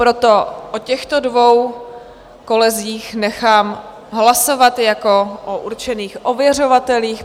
Proto o těchto dvou kolezích nechám hlasovat jako o určených ověřovatelích.